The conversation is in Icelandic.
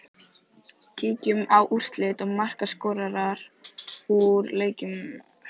Kíkjum á úrslit og markaskorara úr leikjum helgarinnar.